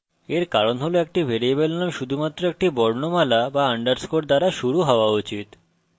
এর কারণ হল একটি ভ্যারিয়েবল name শুধুমাত্র একটি বর্ণমালা বা underscore দ্বারা শুরু হওয়া উচিত